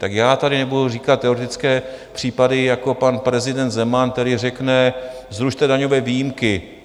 Tak já tady nebudu říkat teoretické případy jako pan prezident Zeman, který řekne, zrušte daňové výjimky.